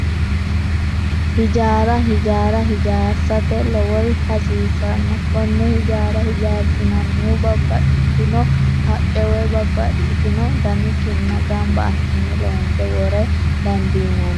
Hijaara hijaara hijaarsate lowori hasiisanno konne hijaara hijaarsinannihu babbaxxitino haqqe woyi babbaxxitino dani kinna gamba assine loonse wora dandiinanni yaate